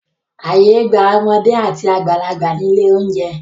Ààyè gba ọmọdé àti àgbàlagbà ní ilé-oúnjẹ.